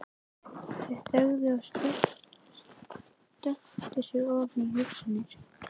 Þau þögðu og sökktu sér ofan í hugsanir.